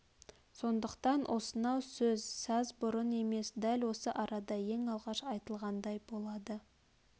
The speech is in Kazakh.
сондықтан осынау сөз саз бұрын емес дәл осы арада ең алғаш айтылғандай болады